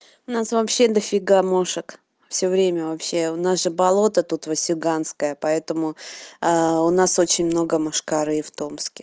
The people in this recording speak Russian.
у нас вообще много мошек всё время вообще у нас же болото тут васюганское поэтому у нас очень много мошкары в томске